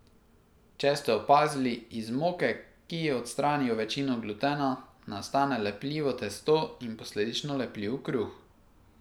Če ste opazili, iz moke, ki ji odstranijo večino glutena, nastane lepljivo testo in posledično lepljiv kruh.